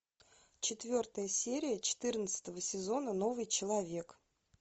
четвертая серия четырнадцатого сезона новый человек